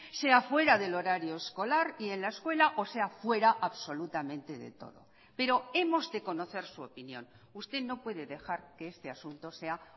sea fuera del horario escolar y en la escuela o sea fuera absolutamente de todo pero hemos de conocer su opinión usted no puede dejar que este asunto sea